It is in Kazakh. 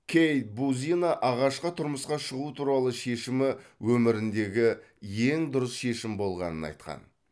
кейт бузина ағашқа тұрмысқа шығу туралы шешімі өміріндегі ең дұрыс шешім болғанын айтқан